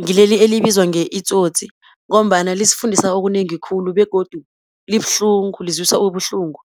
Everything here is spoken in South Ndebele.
ngileli elibizwa nge-Itsotsi, ngombana lisifundisa okunengi khulu, begodu libuhlungu lizwisa ubuhlungu.